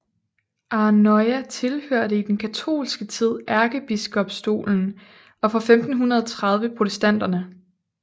Arnøya tilhørte i den katolske tid ærkebiskopstolen og fra 1530 protestanterne